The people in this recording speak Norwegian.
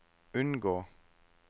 unngå